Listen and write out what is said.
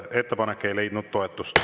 Ettepanek ei leidnud toetust.